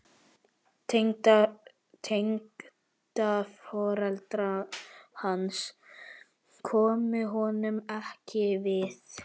Tengdaforeldrar hans komu honum ekki við.